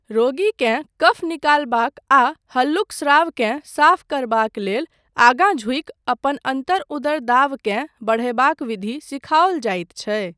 रोगीकेँ कफ निकालबाक आ हल्लुक स्रावकेँ साफ करबाक लेल आगाँ झुकि अपन अन्तर उदर दाबकेँ बढ़यबाक विधि सिखाओल जाइत छै।